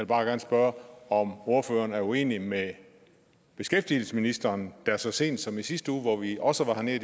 bare gerne spørge om ordføreren er uenig med beskæftigelsesministeren der så sent som i sidste uge hvor vi også var hernede